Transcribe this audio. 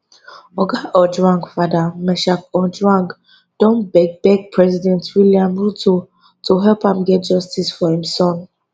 oga ojwang father meshack ojwang don beg beg president william ruto to help am get justice for im son